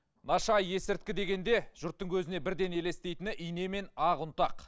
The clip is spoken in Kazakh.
наша есірткі дегенде жұрттың көзіне бірден елестейтіні ине мен ақ ұнтақ